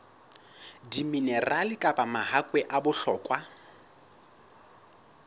diminerale kapa mahakwe a bohlokwa